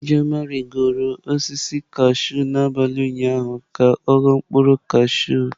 Ijeoma rigoro osisi kashụụ n'abalị ụnyaahụ ka ọ ghọ mkpụrụ osisi kashụụ.